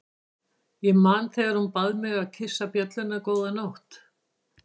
Ég man þegar hún bað mig að kyssa bjölluna góða nótt.